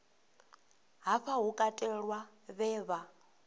hafha hu katelwa vhe vha